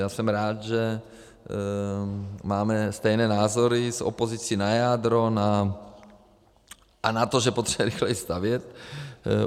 Já jsem rád, že máme stejné názory s opozicí na jádro a na to, že potřebujeme rychleji stavět.